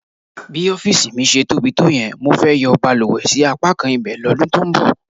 Bí ọ́fíìsì mi ṣe tóbi tó yẹn, mo fẹ́ yọ balùwẹ̀ sí apákan ibẹ̀ lọ́dún tó ń bọ̀.